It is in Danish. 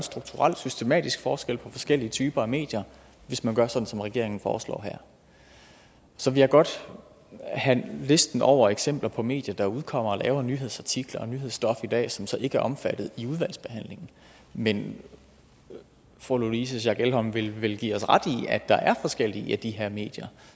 strukturel systematisk forskel på forskellige typer af medier hvis man gør sådan som regeringen foreslår her så vil jeg godt have listen over eksempler på medier der udkommer og laver nyhedsartikler og nyhedsstof i dag som så ikke er omfattet i udvalgsbehandlingen men fru louise schack elholm vil vel give os ret i at der er forskellige af de her medier